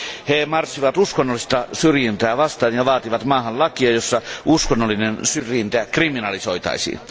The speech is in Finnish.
He marssivat uskonnollista syrjintää vastaan ja vaativat maahan lakia, jossa uskonnollinen syrjintä kriminalisoitaisiin.